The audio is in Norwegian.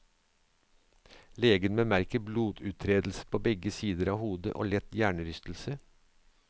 Legen bemerker bloduttredelser på begge sider av hodet og lett hjernerystelse.